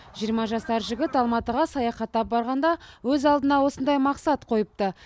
жиырма жасар жігіт алматыға саяхаттап барғанда өз алдына осындай мақсат қойыпты